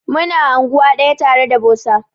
Mu na anguwa daya tare da bosa.